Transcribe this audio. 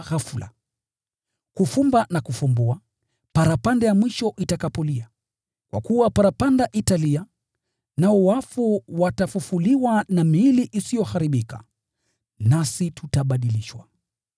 ghafula, kufumba na kufumbua, parapanda ya mwisho itakapolia. Kwa kuwa parapanda italia, nao wafu watafufuliwa na miili isiyoharibika, nasi tutabadilishwa.